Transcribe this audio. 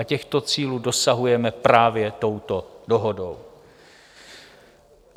A těchto cílů dosahujeme právě touto dohodou.